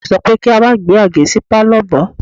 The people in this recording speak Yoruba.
Ìyá mi sọ pé kí a má gbé Àgé sí Pálọ̀ mọ́.